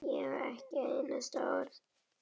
Ég á ekkert einasta orð.